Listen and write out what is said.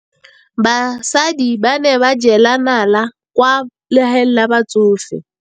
Basadi ba ne ba jela nala kwaa legaeng la batsofe.